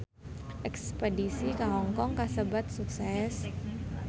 Espedisi ka Hong Kong kasebat sukses